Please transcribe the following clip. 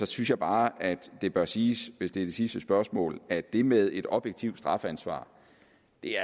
synes jeg bare at det bør siges hvis det er det sidste spørgsmål at det med et objektivt strafansvar